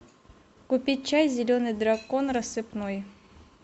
купить чай зеленый дракон рассыпной